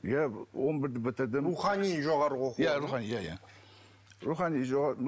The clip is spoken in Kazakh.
иә он бірді бітірдім рухани жоғарғы иә рухани иә иә рухани